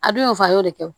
A dun y'o fa a y'o de kɛ